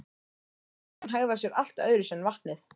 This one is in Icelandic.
Gufan hegðar sér allt öðruvísi en vatnið.